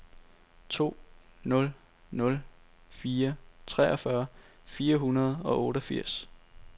to nul nul fire treogfyrre fire hundrede og otteogfirs